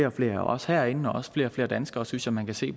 og flere af os herinde og også flere og flere danskere synes jeg man kan se